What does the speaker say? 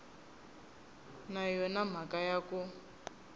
na yona mhaka ya ku